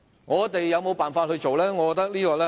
我們有沒有解決辦法呢？